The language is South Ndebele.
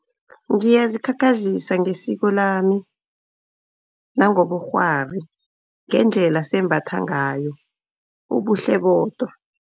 Ngiyazikhakhazisa ngesiko lami, nangobukghwari ngendlela sembatha ngayo bubuhle bodwa.